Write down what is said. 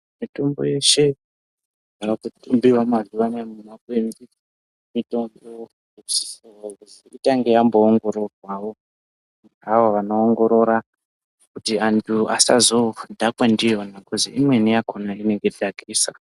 Mitombo yeshe yaakukurumbira mazuwa anaya mumakwenzi, mitombo inosisirwa kuzi itange yamboongororwawo ngeavo vanoongorora, kuti antu asazodhakwe ndiyona, kozi imweni yakhona inenge dhakwisa.